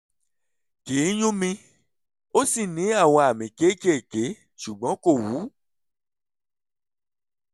kì í yún mi ó sì ní àwọn àmì kéékèèké ṣùgbọ́n kò wú